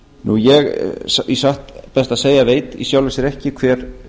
ég satt best að segja veit í sjálfu sér ekki hver